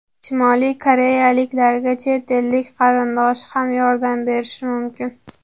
Shimoliy koreyaliklarga chet ellik qarindoshi ham yordam berishi mumkin.